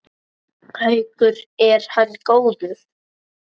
Haukur: Er hann góður?